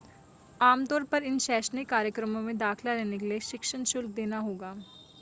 आमतौर पर इन शैक्षणिक कार्यक्रमों में दाखिला लेने के लिए शिक्षण शुल्क देना होगा